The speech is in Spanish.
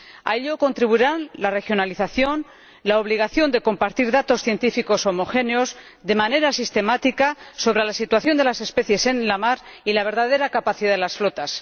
A ello contribuirán la regionalización, la obligación de compartir datos científicos homogéneos, de manera sistemática, sobre la situación de las especies en la mar y la verdadera capacidad de las flotas.